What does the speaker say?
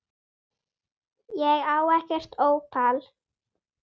Ég á ekkert ópal